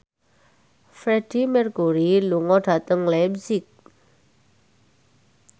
Freedie Mercury lunga dhateng leipzig